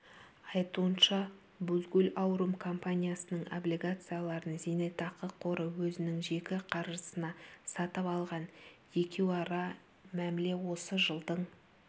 айтуынша бузгул аурум компаниясының облигацияларын зейнетақы қоры өзінің жеке қаржысына сатып алған екеуара мәміле осы жылдың